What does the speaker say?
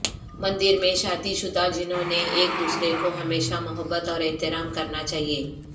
مندر میں شادی شدہ جنہوں نے ایک دوسرے کو ہمیشہ محبت اور احترام کرنا چاہئے